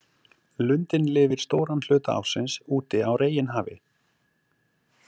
Lundinn lifir stóran hluta ársins úti á reginhafi.